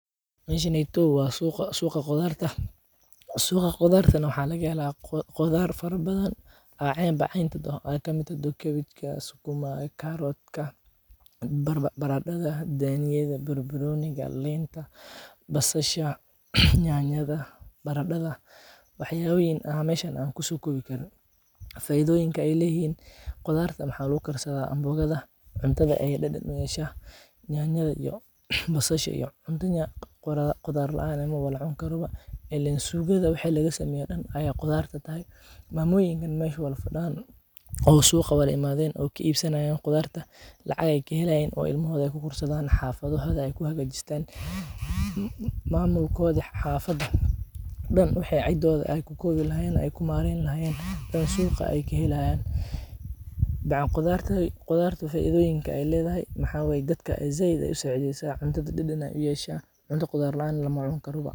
Mesheneto waa suuqa, suuqa qudarta, suuqa qudartana waxaa laga hela qudhar fara badan aa cen ba cen tahdo, ee kamiid tahdo kabejka, sukumaga, caroodka, baradatha, daniyada iyo bar baroniga, linta, basashaa, nyanyada, baradadha wax yaboyin aa meshan ku sokowi karin, faidhooyiinka ee leyihin, qudharta maxaa lagu karsadaa anbogaada, cuntaada ayey dadan u yeshaa, nyanyaada iyo basasha iyo cunta qudhaar laan lama cuni karo, ilen sugaada waxa laga sameyo dan aya qudharta tahay, mamoyinkan mesh wala fadan dan oo suuqa walagalen oo ka ibsanayan qudhartaa lacag ayey kahelayan, oo ilmaahoda ayey ku korsadhan, xafadhahodaa ee ku hagajistan, mamulkodhi xafadotha dan wexee ku kowi lahayen ee ku mareyni lahayen ayey suqaa kahelayiin, bac qudharta faidoyiinka ee ledahay waxaa waye dadka ayey said u sacideysaa, cuntaada dadan ayey u yesha, cunta qudhaar laan lama cuni kara ba.